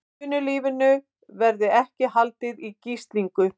Atvinnulífinu verði ekki haldið í gíslingu